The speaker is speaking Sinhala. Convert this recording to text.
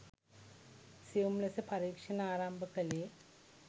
සියුම් ලෙස පරීක්‍ෂණ ආරම්භ කළේ